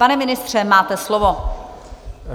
Pane ministře, máte slovo.